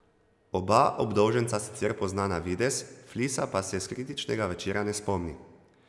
Oba obdolženca sicer pozna na videz, Flisa pa se s kritičnega večera ne spomni.